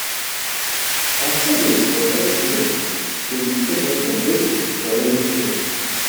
our savings for dry season go fit save us um from begging for raining season.